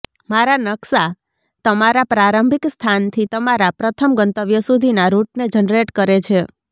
મારા નકશા તમારા પ્રારંભિક સ્થાનથી તમારા પ્રથમ ગંતવ્ય સુધીના રૂટને જનરેટ કરે છે